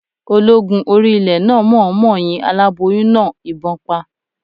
Ológun orí ilẹ̀ náà mọ̀ ọ́n mọ yin aláboyún náà ìbọn pa